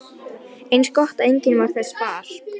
Eins gott að enginn varð þess var!